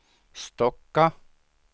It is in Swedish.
Stocka